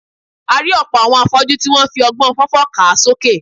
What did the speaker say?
A rí ọ̀pọ̀ àwọn afọ́jú tí wọ́n ń fi ọgbọ́n fọ́fọ́ kà sókè